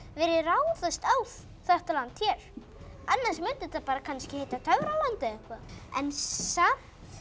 yrði ráðist á þetta land hér annars mundi þetta kannski heita töfraland eða eitthvað en samt